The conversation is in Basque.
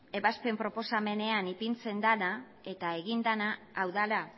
ebazpen proposamenean ipintzen dena eta egin dena hau dela